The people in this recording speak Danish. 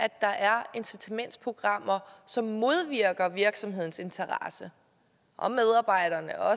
at der er incitamentsprogrammer som modvirker virksomhedens interesse og medarbejdernes og